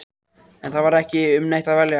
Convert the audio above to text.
En það var ekki um neitt að velja.